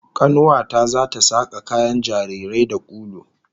Kanuwa ta zata saka kayan jarirai da ulu